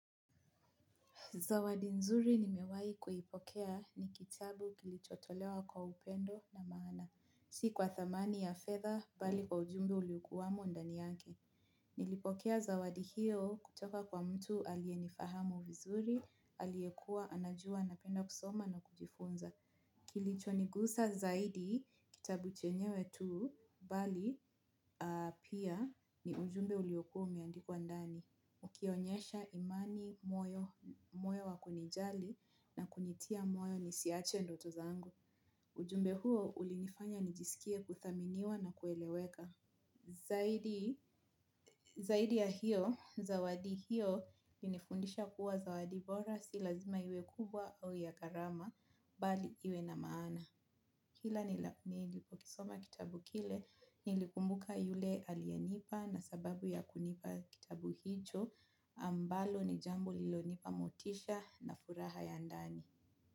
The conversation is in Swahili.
Zawadi nzuri nimewahi kuipokea ni kitabu kilichotolewa kwa upendo na maana. Si kwa thamani ya fedha, bali kwa ujumbe uliokuwamo ndani yake. Nilipokea zawadi hiyo kutoka kwa mtu aliyenifahamu vizuri, aliyekuwa, anajua, napenda kusoma na kujifunza. Kilichonigusa zaidi kitabu chenyewe tu bali pia ujumbe uliokuwa umeandikwa ndani ukionyesha imani moyo wa kunijali na kunitia moyo nisiache ndoto zangu. Ujumbe huo ulinifanya nijisikie kuthaminiwa na kueleweka. Zaidi ya hiyo, zawadi hiyo, ilinifundisha kuwa zawadi bora si lazima iwe kubwa au ya gharama, bali iwe na maana. Kila nilipokisoma kitabu kile nilikumbuka yule aliyenipa na sababu ya kunipa kitabu hicho ambalo ni jambo lililonipa motisha na furaha ya ndani.